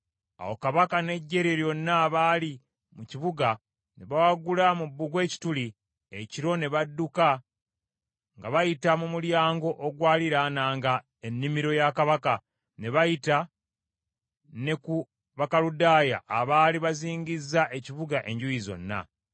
Awo kabaka n’eggye lye lyonna abaali mu kibuga ne bawagula mu bbugwe ekituli, ekiro, ne badduka nga bayita mu mulyango ogwaliraananga ennimiro ya kabaka ne bayita ne ku Bakaludaaya abaali bazingizza ekibuga enjuuyi zonna.